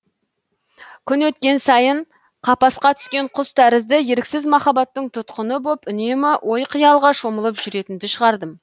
күн өткен сайын қапасқа түскен құс тәрізді еріксіз махаббаттың тұтқыны боп үнемі ой қиялға шомылып жүретінді шығардым